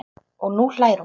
Og nú hlær hún.